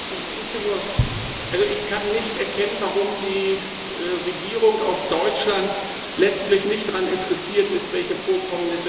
Also ich kann nicht erkennen, warum die Regierung aus Deutschland letztlich nicht daran interessiert ist, welche Vorkommnisse da stattfinden.